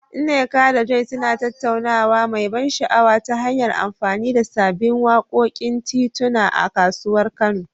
Nneka da Joy suna tattaunawa mai ban sha'awa, ta hanyar amfani da sabbin wakokin tituna a kasuwar Kano.